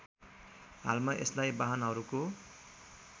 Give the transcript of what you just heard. हालमा यसलाई वाहनहरूको